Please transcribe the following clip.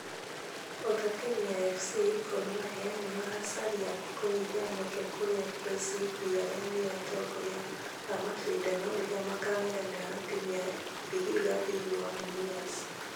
O ta timu ya afc ,gor mahia nĩmaracaria gũnyihia mweke kũria kcb arĩa nĩo atongoria a mashidano ŕirĩa makangethanĩra na timu ya vihiga thĩinĩ wa mumias.